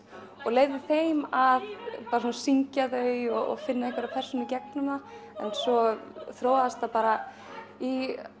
og leyfði þeim að syngja þau og finna einhverja persónu gegnum það en svo þróaðist það bara í